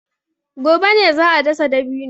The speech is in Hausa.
Gobe ne za a dasa dabino.